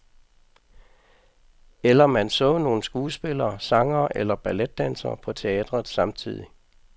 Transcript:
Eller man så nogle skuespillere, sangere eller balletdansere på teatret samtidig.